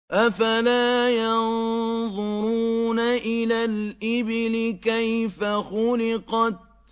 أَفَلَا يَنظُرُونَ إِلَى الْإِبِلِ كَيْفَ خُلِقَتْ